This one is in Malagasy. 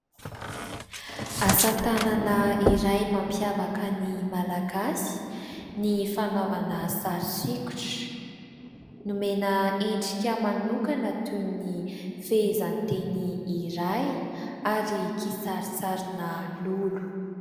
Asa tanana iray mampiavaka ny Malagasy ny fanaovana sary sokitra, nomena endrika manokana toy ny fehezanteny iray ary kisarisarina lolo.